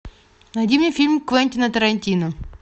найди мне фильм квентина тарантино